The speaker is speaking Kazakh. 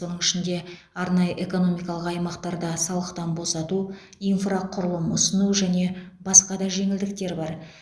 оның ішінде арнайы экономикалық аймақтарда салықтан босату инфрақұрылым ұсыну және басқа да жеңілдіктер бар